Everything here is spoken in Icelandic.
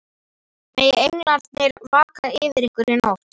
Megi englarnir vaka yfir ykkur í nótt.